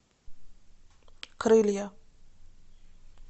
крылья